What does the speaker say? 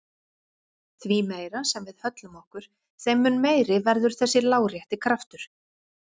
Því meira sem við höllum okkur þeim mun meiri verður þessi lárétti kraftur.